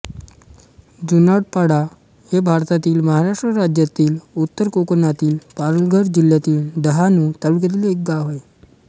जुनाडपाडा हे भारतातील महाराष्ट्र राज्यातील उत्तर कोकणातील पालघर जिल्ह्यातील डहाणू तालुक्यातील एक गाव आहे